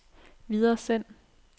videresend